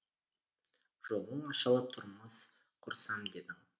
жолың ашылып тұрмыс құрсам дедің